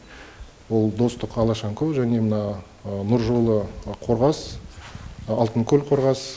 ол достық алашонькоу және мына нұржолы қорғас алтынкөл қорғас